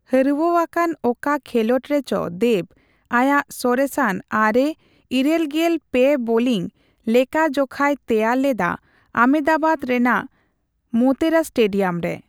ᱦᱟᱹᱨᱣᱟᱹ ᱟᱠᱟᱱ ᱚᱠᱟ ᱠᱷᱮᱞᱚᱰ ᱨᱮᱪᱚ ᱫᱮᱵᱽ ᱟᱭᱟᱜ ᱥᱚᱨᱮᱥᱟᱱ ᱟᱨᱮ/ᱤᱨᱟᱹᱞᱜᱮᱞ ᱯᱮ ᱵᱳᱞᱤᱝ ᱞᱮᱠᱷᱟ ᱡᱚᱠᱷᱟᱭ ᱛᱮᱭᱟᱨ ᱞᱮᱫᱟ ᱟᱢᱮᱫᱟᱵᱟᱫᱽ ᱨᱮᱱᱟᱜ ᱢᱳᱛᱮᱨᱟ ᱥᱴᱮᱰᱤᱭᱟᱢ ᱨᱮ ᱾